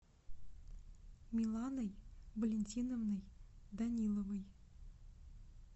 миланой валентиновной даниловой